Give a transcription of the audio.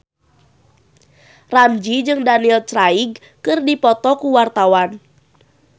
Ramzy jeung Daniel Craig keur dipoto ku wartawan